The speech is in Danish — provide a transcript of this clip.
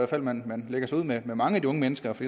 fald man lægger sig ud med mange af de unge mennesker for